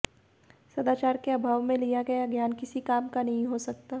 सदाचार के अभाव में लिया गया ज्ञान किसी काम का नहीं हो सकता